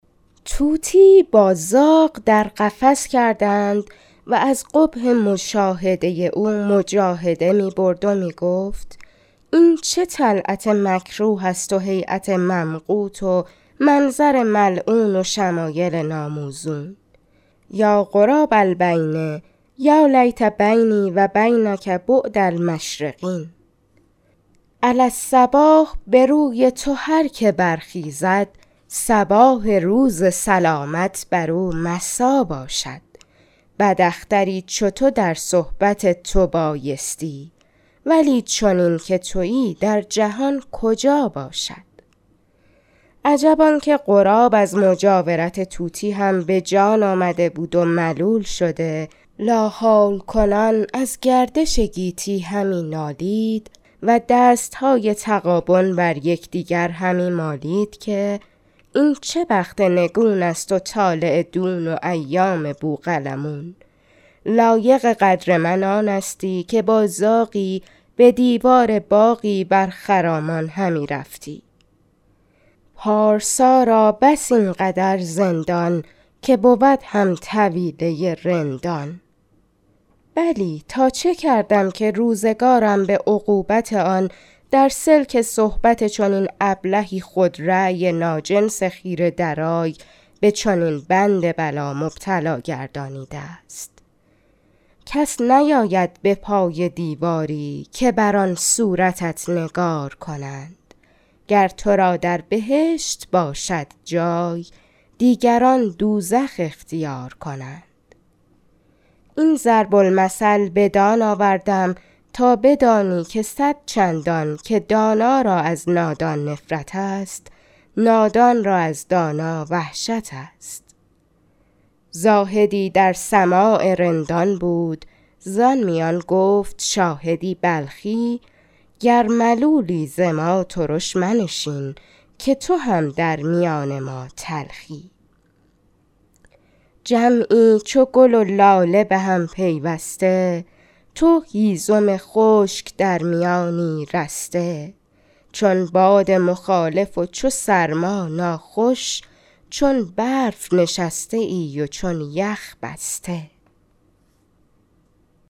طوطیی با زاغ در قفس کردند و از قبح مشاهده او مجاهده می برد و می گفت این چه طلعت مکروه است و هیأت ممقوت و منظر ملعون و شمایل ناموزون یا غراب البین یا لیت بینی و بینک بعد المشرقین علی الصباح به روی تو هر که برخیزد صباح روز سلامت بر او مسا باشد بد اختری چو تو در صحبت تو بایستی ولی چنین که تویی در جهان کجا باشد عجب آن که غراب از مجاورت طوطی هم به جان آمده بود و ملول شده لاحول کنان از گردش گیتی همی نالید و دستهای تغابن بر یکدگر همی مالید که این چه بخت نگون است و طالع دون و ایام بوقلمون لایق قدر من آنستی که با زاغی به دیوار باغی بر خرامان همی رفتمی پارسا را بس این قدر زندان که بود هم طویله رندان بلی تا چه کردم که روزگارم به عقوبت آن در سلک صحبت چنین ابلهی خودرای ناجنس خیره درای به چنین بند بلا مبتلا گردانیده است کس نیاید به پای دیواری که بر آن صورتت نگار کنند گر تو را در بهشت باشد جای دیگران دوزخ اختیار کنند این ضرب المثل بدان آوردم تا بدانی که صدچندان که دانا را از نادان نفرت است نادان را از دانا وحشت است زاهدی در سماع رندان بود زآن میان گفت شاهدی بلخی گر ملولی ز ما ترش منشین که تو هم در میان ما تلخی جمعی چو گل و لاله به هم پیوسته تو هیزم خشک در میانی رسته چون باد مخالف و چو سرما ناخوش چون برف نشسته ای و چون یخ بسته